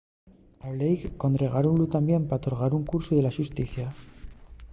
a blake condergáronlu tamién por torgar el cursu de la xusticia